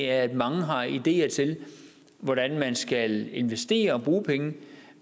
at mange har ideer til hvordan man skal investere og bruge penge